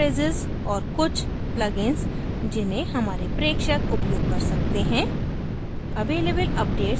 top search phrases और कुछ plugins जिन्हे हमारे प्रेक्षक उपयोग कर सकते हैं